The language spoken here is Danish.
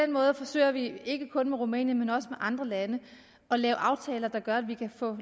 måde forsøger vi ikke kun med rumænien men også med andre lande at lave aftaler der gør at vi kan få